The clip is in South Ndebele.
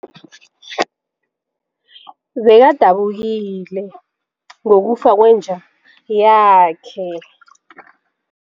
Bekadabukile ngokufa kwenja yakhe.